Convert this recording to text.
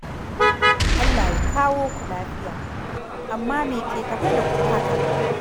Allah ya kawo ku lafiya. Amma me ke tafe da ku haka?